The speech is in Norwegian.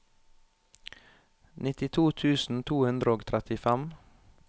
nittito tusen to hundre og trettifem